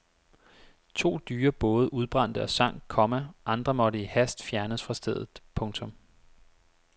To dyre både udbrændte og sank, komma andre måtte i hast fjernes fra stedet. punktum